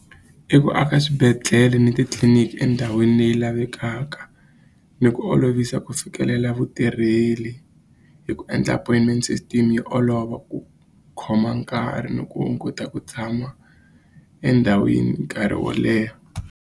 I ku aka swibedhlele ni titliliniki endhawini leyi lavekaka ni ku olovisa ku fikelela vutirheli hi ku endla appointment system yo olova ku khoma nkarhi ni ku hunguta ku tshama endhawini nkarhi wo leha.